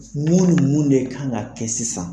Mun ni mun de kan ka kɛ sisan?